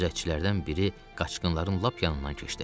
Gözətçilərdən biri qaçqınların lap yanından keçdi.